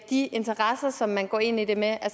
de interesser som man går ind i det med